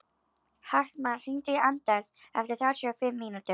Hartmann, hringdu í Anders eftir þrjátíu og fimm mínútur.